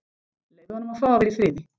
Leyfðu honum að fá að vera í friði.